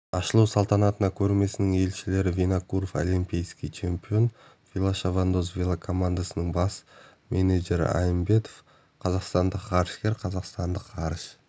ашылу салтанатына көрмесінің елшілері винокуров олимпийский чемпион велошабандоз велокомандасының бас менеджері аимбетов қазақстандық ғарышкер қазақстан ғарыш